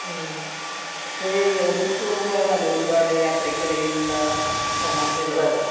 മ്മ്ഹ് .പക്ഷെ ഒന്നിച്ച് പോകുമ്പോഴാണല്ലോ ഒരുപാട് യാത്രക്കിടയിൽ തമാശകളൊക്കെ